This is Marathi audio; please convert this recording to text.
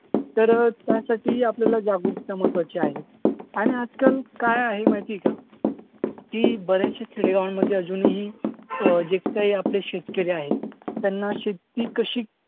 तर त्यासाठी आपल्याला जागरूकता महत्वाची आहे. आणि आजकाल काय आहे माहिती आहे का की बऱ्याचशा खेडेगावांमध्ये अजूनही अं जे काही आपले शेतकरी आहेत त्यांना शेती कशी